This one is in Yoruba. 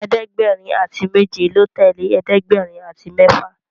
ẹ̀ẹ́dẹ̀gbẹ̀rin àti méje ló tẹlẹ ẹ̀ẹ́dẹ̀gbẹ̀rin àti méfà